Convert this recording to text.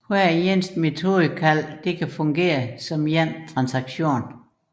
Hvert metodekald kan fungere som en transaktion